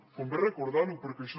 convé recordar ho perquè això